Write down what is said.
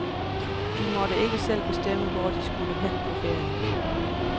De måtte ikke selv bestemme, hvor de skulle hen på ferie.